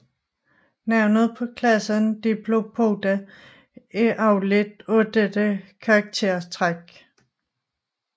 Navnet på klassen Diplopoda er afledt af dette karaktertræk